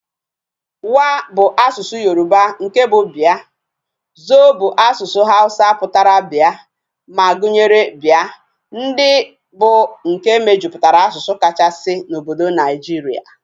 Wa bu asusu Yoruba, nke bu bia, Zo bu asusu Hausa putara bia, ma gunyere bia. ndi bu nke mejuputara asusu kachasi na obodo Nigeria